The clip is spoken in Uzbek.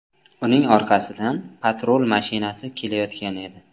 Uning orqasidan patrul mashinasi kelayotgan edi.